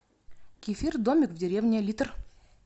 кефир домик в деревне литр